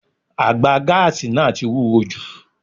Àgbà gáàsì náà tí wúwo jù.